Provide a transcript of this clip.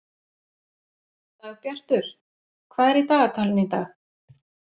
Dagbjartur, hvað er í dagatalinu í dag?